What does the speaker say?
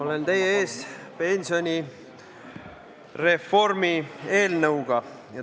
Olen teie ees pensionireformi eelnõuga.